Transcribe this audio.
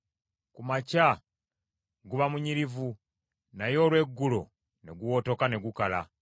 Ku makya guba munyirivu, naye olw’eggulo ne guwotoka ne gukala.